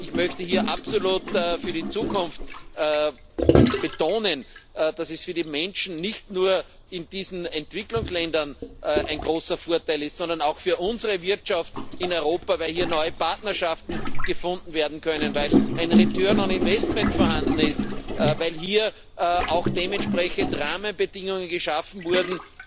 Ich möchte hier für die Zukunft absolut betonen, dass es für die Menschen nicht nur in diesen Entwicklungsländern ein großer Vorteil ist, sondern auch für unsere Wirtschaft in Europa, weil hier neue Partnerschaften gefunden werden können, weil ein return on investment vorhanden ist, weil hier auch dementsprechend Rahmenbedingungen geschaffen wurden,